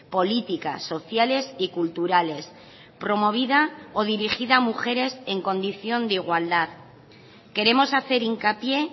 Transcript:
políticas sociales y culturales promovida o dirigida a mujeres en condición de igualdad queremos hacer hincapié